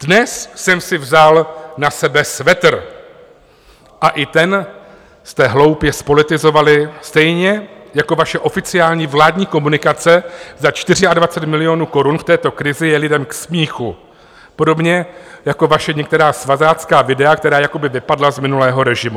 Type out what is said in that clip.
Dnes jsem si vzal na sebe svetr a i ten jste hloupě zpolitizovali, stejně jako vaše oficiální vládní komunikace za 24 milionů korun v této krizi je lidem k smíchu, podobně jako vaše některá svazácká videa, která jako by vypadla z minulého režimu.